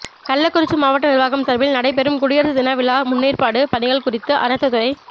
கள்ளக்குறிச்சி மாவட்ட நிா்வாகம் சாா்பில் நடைபெறும் குடியரசு தின விழா முன்னேற்பாடு பணிகள் குறித்து அனைத்துத் துறை